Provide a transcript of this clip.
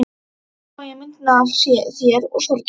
Og svo mála ég myndina af þér og sorginni.